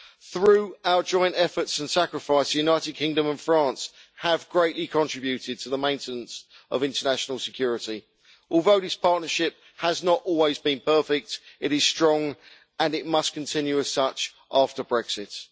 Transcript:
Through our joint efforts and sacrifice, the United Kingdom and France have greatly contributed to the maintenance of international security. Although this partnership has not always been perfect, it is strong and it must continue as such after Brexit.